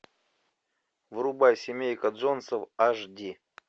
врубай семейка джонсов аш ди